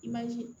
I b'a ye